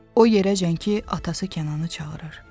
O yerəcən ki, atası Kənanı çağırır.